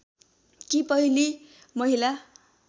कि पहिली महिला